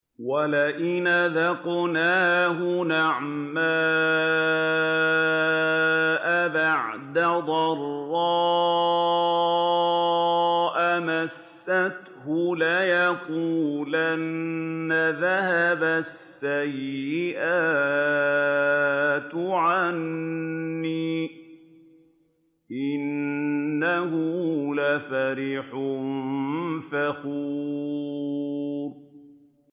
وَلَئِنْ أَذَقْنَاهُ نَعْمَاءَ بَعْدَ ضَرَّاءَ مَسَّتْهُ لَيَقُولَنَّ ذَهَبَ السَّيِّئَاتُ عَنِّي ۚ إِنَّهُ لَفَرِحٌ فَخُورٌ